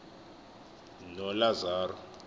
nolazaro